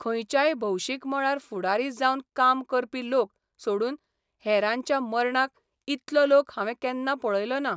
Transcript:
खंयच्याय भौशीक मळार फुडारी जावन काम करपी लोक सोडून हेरांच्या मर्णाक इतलो लोक हांवें केन्ना पळयलोना.